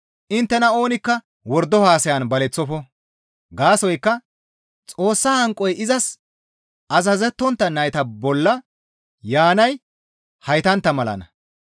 Inttena oonikka wordo haasayan baleththofo; gaasoykka Xoossa hanqoy izas azazettontta nayta bolla yaanay haytantta malanna.